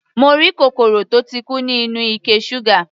Mo rí kòkòrò tó ti kú nínú ike ṣúgà.